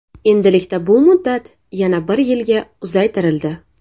Endilikda bu muddat yana bir yilga uzaytirildi.